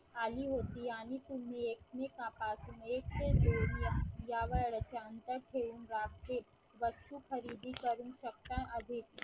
आली होती. आणि तुम्ही एकमेकांपासून एक ते दोन या वेळेचा अंतर ठेवून रात्री वस्ती खरेदी करू शकता